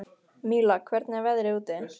Míla, hvernig er veðrið úti?